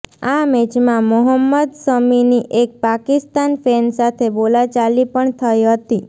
આ મેચમાં મોહમ્મદ શમીની એક પાકિસ્તાન ફેન સાથે બોલાચાલી પણ થઈ હતી